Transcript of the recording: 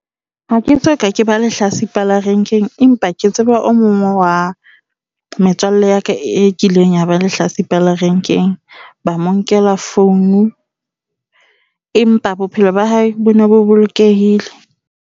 Ha ke soka ke ba lehlatsipa la rank-eng. Empa ke tseba o mong wa metswalle ya ka e kileng ya ba lehlatsipa la rank-eng ba mo nkela phone empa bophelo ba hae bone bo bolokehile.